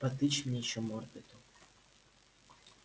потычь мне ещё мордой-то